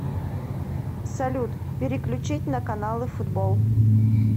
салют переключить на каналы футбол